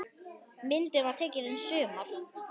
Myndin var tekin í sumar.